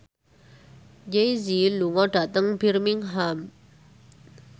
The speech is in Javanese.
Jay Z lunga dhateng Birmingham